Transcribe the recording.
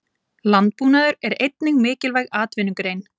Landbúnaður er einnig mikilvæg atvinnugrein.